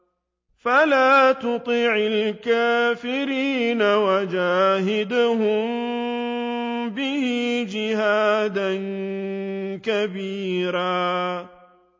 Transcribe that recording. فَلَا تُطِعِ الْكَافِرِينَ وَجَاهِدْهُم بِهِ جِهَادًا كَبِيرًا